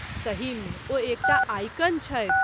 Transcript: सही मे, ओ एकटा आइकन छथि।